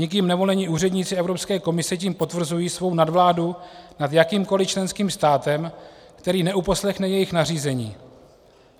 Nikým nevolení úředníci Evropské komise tím potvrzují svou nadvládu nad jakýmkoli členským státem, který neuposlechne jejich nařízení.